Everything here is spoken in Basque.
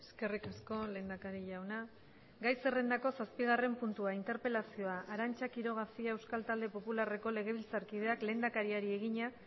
eskerrik asko lehendakari jauna gai zerrendako zazpigarren puntua interpelazioa arantza quiroga cia euskal talde popularreko legebiltzarkideak lehendakariari egina